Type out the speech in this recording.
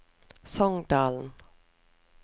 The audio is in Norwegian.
Songdalen